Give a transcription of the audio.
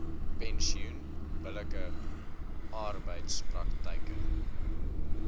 pensioen billike arbeidspraktyke